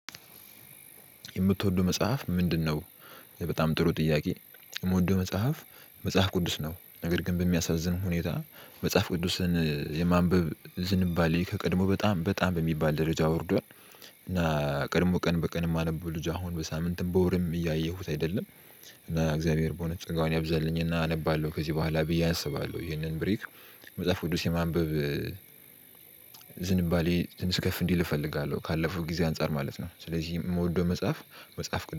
የምትወደው መጽሐፍ ምንድነው? በጣም ጥሩ ጥያቄ የምወደው መጽሐፍ መጽሐፍ ቅዱስ ነው። ነገር ግን በሚያሳዝን ሁኔታ መጽሐፍ ቅዱስን የማንበብ ዝንባሌ ከቀድሞ በጣም በጣም በሚባል ደረጃ ወርዷል። እና ቀድሞ ቀን በቀን የማነበው ልጅ አሁን በሳምንትም በወርም እያየሁት አይደለም። እና እግዚአብሔር በእውነት ጸጋውን ያብዛልኝና አነባለሁ ከዚህ በኋላ ብዬ አስባለሁ። ይህንን ብሬክ። መጽሐፍ ቅዱስ የማንበብ ዝንባሌ ትንሽ ከፍ እንዲል እፈልጋለሁ ካለፈው ጊዜ አንፃር ማለት ነው። ስለዚህ የምወደው መጽሐፍ መጽሐፍ